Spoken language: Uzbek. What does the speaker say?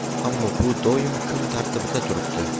Ammo bu doimo kun tartibida turibdi.